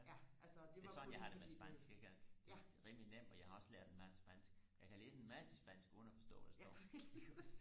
ja det er sådan jeg har det med spansk ikke at det er rimelig nemt og jeg har også lært en masse spansk jeg kan læse en masse spansk uden og forstå hvad der står